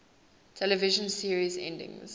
television series endings